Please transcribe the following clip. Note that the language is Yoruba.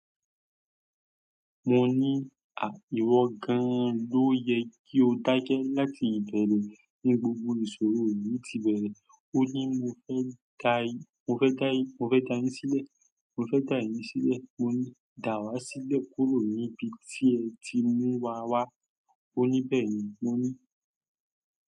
Mo ní, à ìwọ̀ gan ló yẹ kí o dákẹ́ láti ìbẹ̀rẹ̀ ní gbogbo ìṣòro yìí tí bẹ̀rẹ̀. O ni mo fẹ́ gai, mo fẹ́ dáyé, mo fẹ́ dami sílẹ̀, mo fẹ́ dá ìlú sílẹ̀. Mo ni dáwà sílẹ̀ kúrò níbi tí o tí muwa wá. Ó ní, bẹ́ẹ̀ni. Mo ní.